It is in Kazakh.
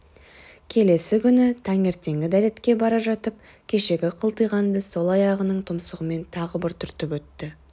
келесі күні таңертеңгі дәретке бара жатып кешегі қылтиғанды сол аяғының тұмсығымен тағы бір түртіп өтті